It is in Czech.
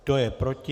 Kdo je proti?